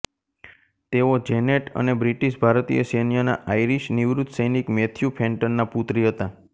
તેઓ જેનેટ અને બ્રિટીશ ભારતીય સૈન્યના આઇરિશ નિવૃત્ત સૈનિક મેથ્યુ ફેન્ટનના પુત્રી હતા